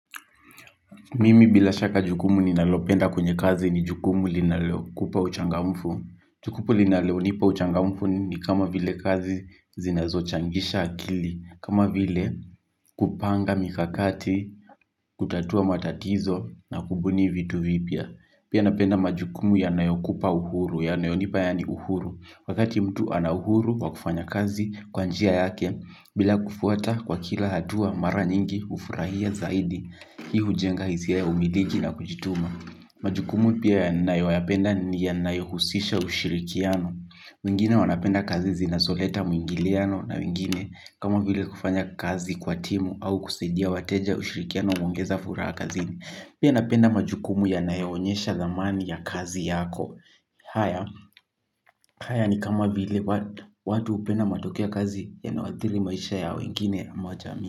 Mimi bila shaka jukumu ninalopenda kwenye kazi ni jukumu lni jukumu linakupa uchangamfu. Jukumu linalonipa uchangamfu ni kama vile kazi zinazo changisha akili. Kama vile kupanga mikakati, kutatua matatizo na kubuni vitu vipya. Pia napenda majukumu yanayokupa uhuru, yanayonipa yani uhuru. Wakati mtu ana huru wa kufanya kazi kwa njia yake, bila kufuata kwa kila hatua mara nyingi hufurahia zaidi. Hii hujenga hisia ya umiliki na kujituma. Majukumu pia ninayo yayapenda ni yanayo husisha ushirikiano wengine wanapenda kazi zinazoleta mwingiliano na wengine. Kama vile kufanya kazi kwa timu au kusaidia wateja ushirikiano huongeza furaha kazini. Pia napenda majukumu yanayo onyesha dhamani ya kazi yako. Haya ni kama vile watu hupenda matokeo kazi yanayoathiri maisha ya wengine ama jamii.